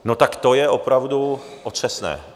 No tak to je opravdu otřesné.